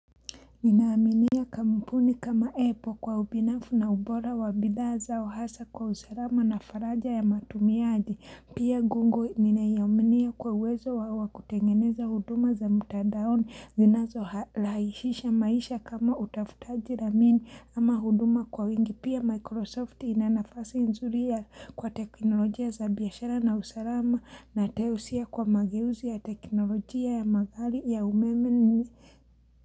Ninaaminia kamupuni kama epo kwa ubinafu na ubora wa bidhaa zao hasa kwa usalama na faraja ya matumiaji pia gungo ninaiuaminia kwa uwezo wa wakutengeneza huduma za mtadaoni zinazorahisisha maisha kama utafutaji ramini ama huduma kwa wingi pia microsoft inanafasi nzuri ya kwa teknolojia za biashara na usalama na teusia kwa mageuzi ya teknolojia ya magari ya umeme ni.